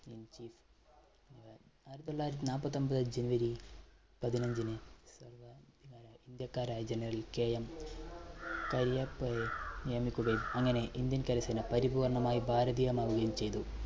ആയിരത്തിതൊള്ളായിരത്തി നാൽപ്പത്തിഒൻപത് january പതിനഞ്ചിന് india ക്കാരായ generalKM കരിയപ്പയെ നിയമിക്കുകയും അങ്ങനെ indian കരസേന പരിപൂർണ്ണമായും ഭാരതീയമാവുകയും ചെയ്തു.